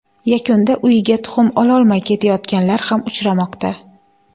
Yakunda uyiga tuxum ololmay ketayotganlar ham uchramoqda.